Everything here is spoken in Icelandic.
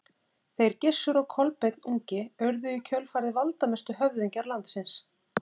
Þeir Gissur og Kolbeinn ungi urðu í kjölfarið valdamestu höfðingjar landsins.